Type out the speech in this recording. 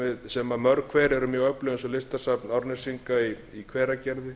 sem mörg hver eru mjög öflug eins og listasafn árnesinga í hveragerði